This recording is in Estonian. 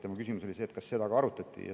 Tema küsimus oli see, kas seda ka arutati.